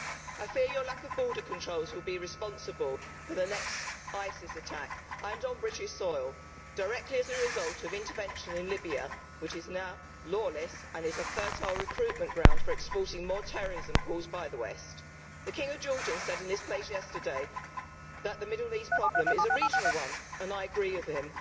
I fear the lack of border controls will be responsible for the next ISIS attack, and on British soil, directly as a result of intervention in Libya, which is now lawless and is a fertile recruitment ground for exporting more terrorism caused by the West. The King of Jordan said in this place yesterday that the Middle East problem is a regional one and I agree with